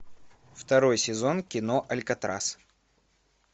второй сезон кино алькатрас